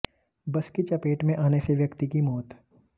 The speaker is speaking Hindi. बस की चपेट में आने से व्यक्ति की मौत